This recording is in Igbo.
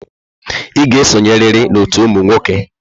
Ị ga-esonyerịrị n'ọtú ụmụ nwoke!